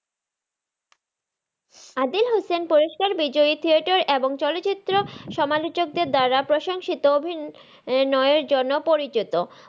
আদিল হুসেন পুরস্কার বিজয়ী থিয়েটার এবং চলচিত্র সমাচলক দের দ্বারা প্রশংসিত অভিনয়ের জন্য পরিচিত।